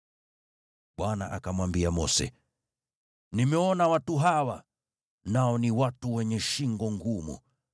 Bwana akamwambia Mose, “Nimeona watu hawa, nao ni watu wenye shingo ngumu.